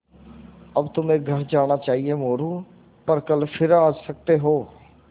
अब तुम्हें घर जाना चाहिये मोरू पर कल फिर आ सकते हो